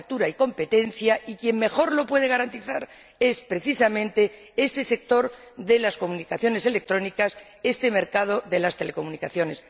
a la apertura y competencia, y quien mejor lo puede garantizar es precisamente este sector de las comunicaciones electrónicas, este mercado de las telecomunicaciones.